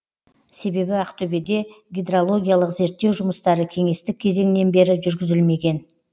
себебі ақтөбеде гидрологиялық зерттеу жұмыстары кеңестік кезеңнен бері жүргізілмеген